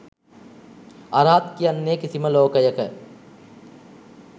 අරහත් කියන්නේ කිසිම ලෝකයක